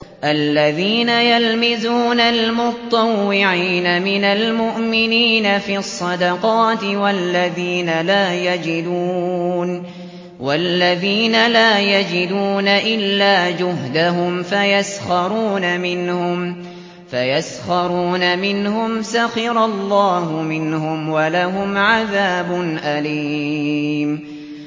الَّذِينَ يَلْمِزُونَ الْمُطَّوِّعِينَ مِنَ الْمُؤْمِنِينَ فِي الصَّدَقَاتِ وَالَّذِينَ لَا يَجِدُونَ إِلَّا جُهْدَهُمْ فَيَسْخَرُونَ مِنْهُمْ ۙ سَخِرَ اللَّهُ مِنْهُمْ وَلَهُمْ عَذَابٌ أَلِيمٌ